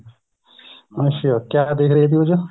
ਅੱਛਾ ਕਿਆ ਦੇਖ ਰਹੇ ਸੀ ਉਸ ਚ